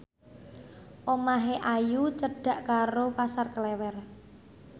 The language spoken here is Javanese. omahe Ayu cedhak karo Pasar Klewer